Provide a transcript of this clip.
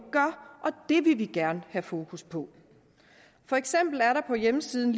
vil vi gerne have fokus på for eksempel er der på hjemmesiden